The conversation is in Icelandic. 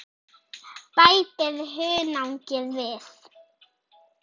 Bætið hunangi við.